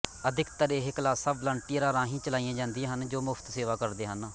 ਅਧਿਕਤਰ ਇਹ ਕਲਾਸਾਂ ਵਲੰਟੀਅਰਾਂ ਰਾਹੀ ਚਲਾਈਆਂ ਜਾਂਦੀਆਂ ਹਨ ਜੋ ਮੁਫ਼ਤ ਸੇਵਾ ਕਰਦੇ ਹਨ